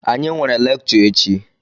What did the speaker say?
Anyị nwere lekchọ echi.